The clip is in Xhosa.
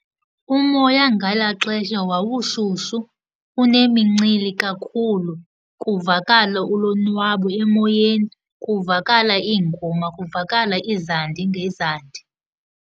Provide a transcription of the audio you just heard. Umoya ngelaa xesha wawushushu, unemincili kakhulu, kuvakala ulonwabo emoyeni, kuvakala iingoma, kuvakala iizandi ngeezandi.